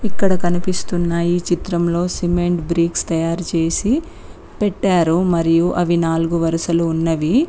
ఇక్కడ కనిపిస్తున్న ఈ చిత్రంలో సిమెంటు బ్రిక్స్ తయారు చేసి పెట్టారు మరియు అవి నాలుగు వరుసలు ఉన్నవి.